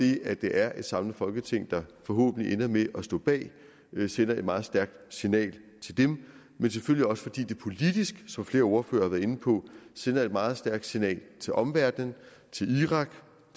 det at det er et samlet folketing der forhåbentlig ender med at stå bag sender et meget stærkt signal til dem men selvfølgelig også fordi det politisk som flere ordførere har været inde på sender et meget stærkt signal til omverdenen til irak